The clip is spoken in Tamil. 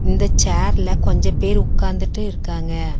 இந்த சேர்ல கொஞ்ச பேர் உக்காந்திட்டு இருக்காங்க.